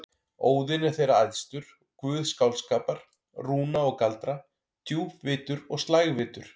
Óðinn er þeirra æðstur, guð skáldskapar, rúna og galdra, djúpvitur og slægvitur.